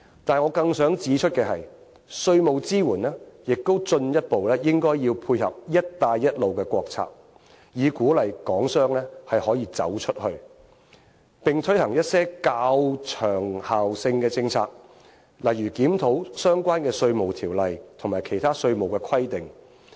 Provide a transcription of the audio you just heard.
但是，我更想指出的是，稅務支援亦應進一步配合"一帶一路"的國策，以鼓勵港商可以走出去，並推行一些較長效性的政策，例如檢討相關的《稅務條例》及其他稅務規定。